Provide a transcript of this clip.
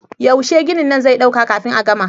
Yaushe ginin nan zai ɗauka kafin a gama?